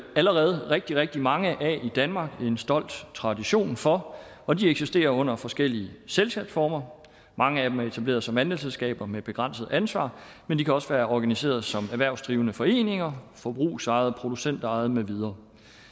allerede rigtig rigtig mange af i danmark og en stolt tradition for og de eksisterer under forskellige selskabsformer mange af dem er etableret som andelsselskaber med begrænset ansvar men de kan også være organiseret som erhvervsdrivende foreninger forbrugsejet producentejet med videre